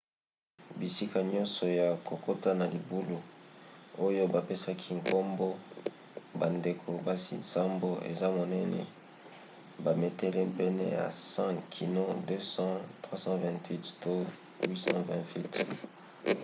bisika nyonso ya kokota na libulu oyo bapesaki nkombo bandeko-basi nsambo, eza monene bametele pene ya 100 kino 250 328 to 820 feet